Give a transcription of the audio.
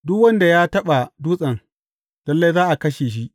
Duk wanda ya taɓa dutsen, lalle za a kashe shi.